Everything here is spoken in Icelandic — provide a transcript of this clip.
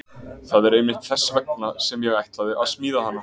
Það er einmitt þess vegna sem ég ætla að smíða hana.